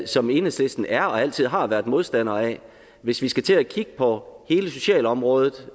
som enhedslisten er og altid har været modstandere af hvis vi skal til at kigge på hele socialområdet